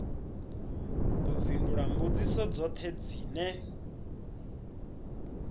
ḓo fhindula mbudziso dzoṱhe dzine